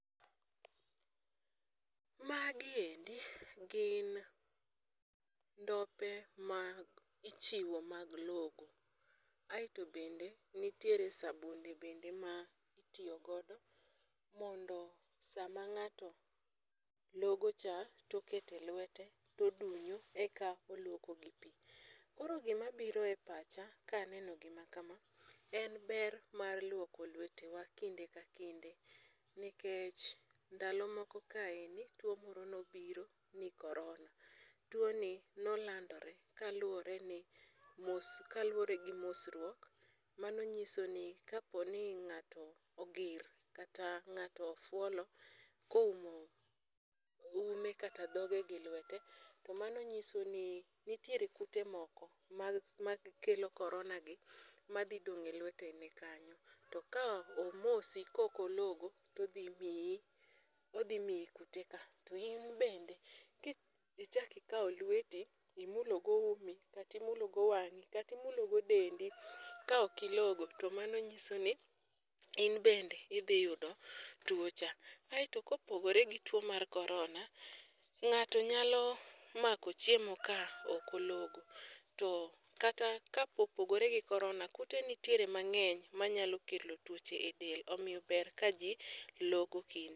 Magiendi gin ndope ma ichiwo mag logo. Aeto bende nitiere sabunde bende ma itiyo godo mondo sama ng'ato logo cha to oketo e lwete to odunyo eka ologo gi pi. Koro gima biro e acha ka aneno gima kama en ber mar logo lwetewa kinde ka kinde nikech ndalo moko kae ni tuo moro nobiro ni korona. Tuoni nolandore kaluworeni kaluwore gi mosruok mano nyiso ni kaponi ng'ato ogir kata ng'ato ofuolo koumo ume kata dhoge gi lwete to mano nyiso ni nitiere kute moko makelo koronagi madhi dong' e lweteni kanyo to ka omosi ka ok ologo to odhi miyi odhi miyi kuteka to in bende ka ichako ikawo lweti imulogo umi kata imulogo wang'i kata imulogo dendi kaok ilogo to mano nyisoni in bende idhi yudo tuo cha. Kaeto kopogore gituo mar korona, ng'ato nyalo mako chiemo ka ok ologo to kata ka opogore gi korona, kute nitiere mang'eny manyalo kelo tuoche edel omiyo ber kaji logo